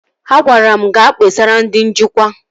Ha gwara mụ ga kpesara ndị njikwa